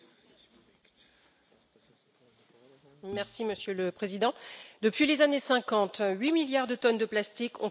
Monsieur le Président, depuis les années 50, huit milliards de tonnes de plastique ont été produites et moins de 10 ont été recyclées.